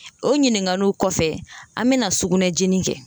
O ɲininkaliw kɔfɛ, an mɛna sugunɛjeni kɛ la